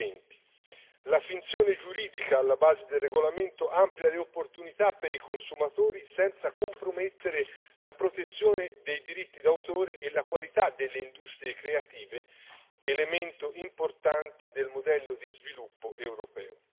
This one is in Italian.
2020. La finzione giuridica alla base del regolamento amplia le opportunità per i consumatori senza compromettere la protezione dei diritti d'autore e la qualità delle industrie creative, elemento importante del modello di sviluppo europeo.